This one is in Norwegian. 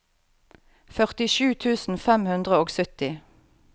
førtisju tusen fem hundre og sytti